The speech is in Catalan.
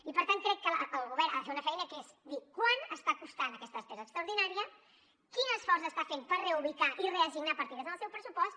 i per tant crec que el govern ha de fer una feina que és dir quan està costant aquesta despesa extraordinària quin esforç està fent per reubicar i reassignar partides en el seu pressupost